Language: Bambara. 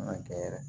An ka kɛ yɛrɛ